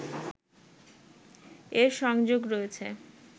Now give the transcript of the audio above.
এর সংযোগ রয়েছে